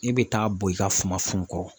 E bɛ taa bo i ka sumansun kɔrɔ